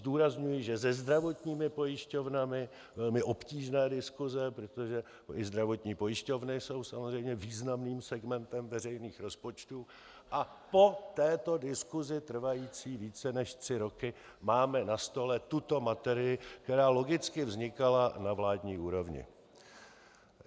Zdůrazňuji, že se zdravotními pojišťovnami byly obtížné diskuse, protože i zdravotní pojišťovny jsou samozřejmě významným segmentem veřejných rozpočtů, a po této diskusi trvající více než tři roky máme na stole tuto materii, která logicky vznikala na vládní úrovni.